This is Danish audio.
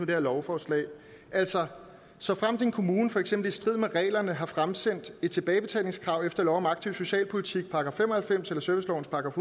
det her lovforslag altså såfremt en kommune for eksempel i strid med reglerne har fremsendt et tilbagebetalingskrav efter lov om aktiv socialpolitik § fem og halvfems eller servicelovens §